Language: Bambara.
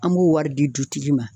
An b'o wari di dutigi ma.